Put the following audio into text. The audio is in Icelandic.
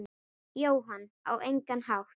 Jóhann: Á engan hátt?